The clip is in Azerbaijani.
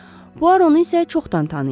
Puaro onu isə çoxdan tanıyırdı.